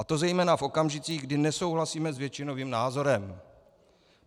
A to zejména v okamžicích, kdy nesouhlasíme s většinovým názorem.